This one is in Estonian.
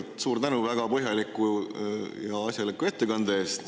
Kõigepealt suur tänu väga põhjaliku ja asjaliku ettekande eest!